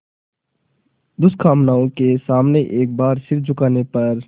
दुष्कामनाओं के सामने एक बार सिर झुकाने पर